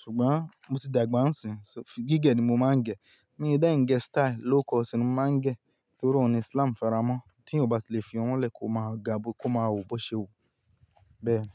ṣùgbọ́n mo ti dàgbà ń sìn, gígẹ̀ ni mo máa ń gẹ. Mi ò dẹ̀ ń gẹ style low cut ni mo máa ń gẹ, torí òun ni Islam faramọ́. Tí èyàn ò bá ti lè fi irun le kó máa ga, àbí kó máa wò bó ṣe wò, bẹ́ẹ̀ ni.